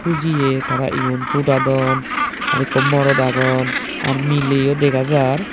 hujiye tara igun fudadon arow ikko morod agon ar mileyo dega jar.